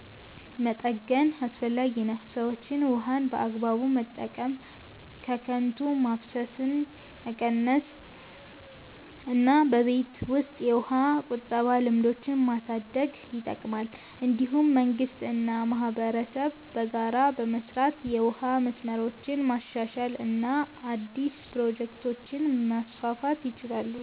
መጠገን አስፈላጊ ነው። ሰዎችም ውሃን በአግባቡ መጠቀም፣ ከንቱ ማፍሰስን መቀነስ እና በቤት ውስጥ የውሃ ቁጠባ ልምዶችን ማሳደግ ይጠቅማል። እንዲሁም መንግስት እና ማህበረሰብ በጋራ በመስራት የውሃ መስመሮችን ማሻሻል እና አዲስ ፕሮጀክቶችን ማስፋፋት ይችላሉ።